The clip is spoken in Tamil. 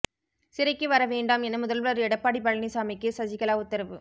சிறைக்கு வர வேண்டாம் என முதல்வர் எடப்பாடி பழனிசாமிக்கு சசிகலா உத்தரவு